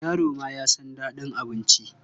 Yaro ma ya san daɗin abinci.